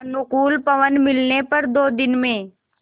अनुकूल पवन मिलने पर दो दिन में